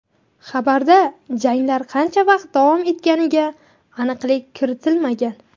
Xabarda janglar qancha vaqt davom etganiga aniqlik kiritilmagan.